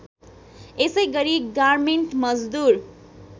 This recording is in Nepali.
यसैगरी गार्मेन्ट मजदुर